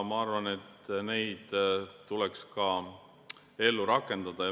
Ma arvan, et neid tuleks ka ellu rakendada.